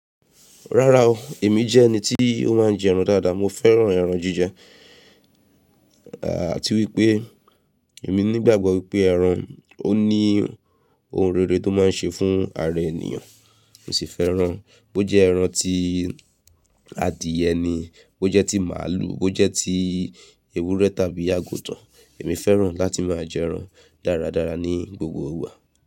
Rárá o, èmi jẹ́ ẹni tí ó máa ń jẹ ẹran dáadáa. Mo fẹ́ràn ẹran jíjẹ, àti wípé èmi nígbàgbọ́ wípé ẹran ó ní ohun rere tó máa ń ṣe fún ara ènìyàn. Mo sì fẹ́ràn bó jẹ́ ẹran tí adìẹ ni, bó jẹ́ tí màlúù, bó jẹ́ tí ewúrẹ́ tàbí àgùntàn, èmi fẹ́ràn láti máa jẹ ẹran dáradára ní gbogbo ìgbà.